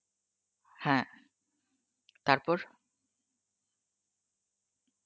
হ্যাঁ, তারপর?